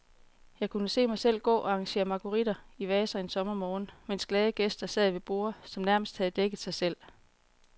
Jeg kunne se mig selv gå og arrangere marguritter i vaser en sommermorgen, mens glade gæster sad ved borde, som nærmest havde dækket sig selv.